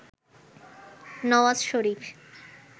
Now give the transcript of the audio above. Nawaz Sharif